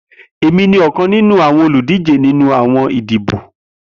Emi ni ọkan ninu awọn oludije ninu awọn idibo.